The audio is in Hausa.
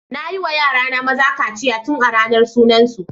Nayi wa yara na maza kaciya tun a ranar sunan su.